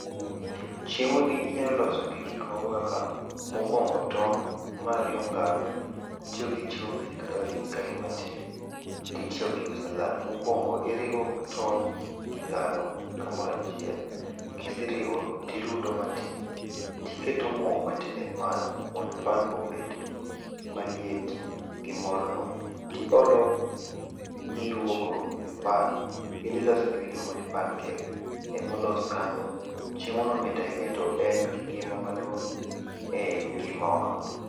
Chiemoni inyalo loso gi gik moko kaka, mokwongo tong' mar ariyo ngano, itiyo gi chumvi matin, ti tiyo gi salad. Mokwongo iriwo tong' gi ngano kamoro achiel. Kiseriwo tirudo matin tiketo mo matin e pan mondo pan obed maliet gi morno, tiolo miruwogo e pan. Idhi loso gimiluongo ni pancake emolos kanyo. chiemono mit ahinya to en gi ngima maduong' e i ngimawa.